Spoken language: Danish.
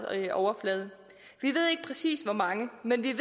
overflade vi ved ikke præcist hvor mange men vi